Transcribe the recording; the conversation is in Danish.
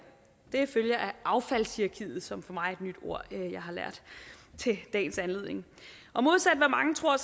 det følger af affaldshierarkiet som for mig er et nyt ord jeg har lært til dagens anledning modsat af hvad mange tror er